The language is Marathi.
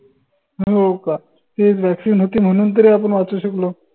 हो का? ते vaccine होती म्हनून तरी आपण वाचू शकलो.